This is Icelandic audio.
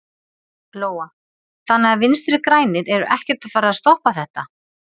Lóa: Þannig að Vinstri-grænir eru ekkert að fara að stoppa þetta?